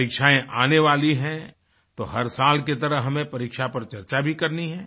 परीक्षाएँ आने वाली हैंतो हर साल की तरह हमें परीक्षा पर चर्चा भी करनी है